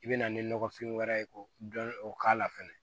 I bɛ na ni nɔgɔfin wɛrɛ ye k'o dɔn o k'a la fɛnɛ